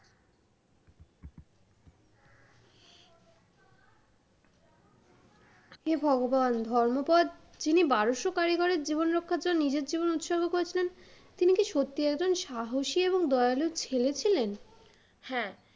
হে ভগবান! ধর্মোপদ, তিনি বারোশ কারিগরের জীবন রক্ষার জন্য নিজের জীবন উৎসর্গ করেছিলেন, তিনি কি সত্যিই একজন সাহসী এবং দয়ালু ছেলে ছিলেন? হ্যাঁ,